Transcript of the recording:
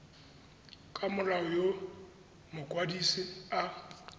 ka molao yo mokwadise a